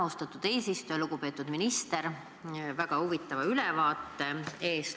Suur tänu, lugupeetud minister, väga huvitava ülevaate eest!